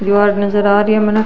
दिवार नजर आ री है मन।